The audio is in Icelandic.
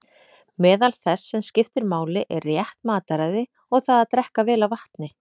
Meðal þess sem skiptir máli er rétt mataræði og það að drekka vel af vatni.